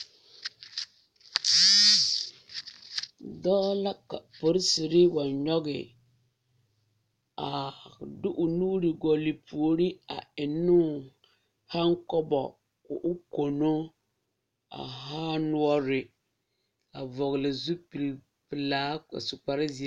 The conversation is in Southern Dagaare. Dɔɔ la ka polisiri wa nyɔge a de o nuuri gɔle puori a enne o haakobo ka o kono a haa noɔre a vɔgle zupili pelaa su kpare zeɛ.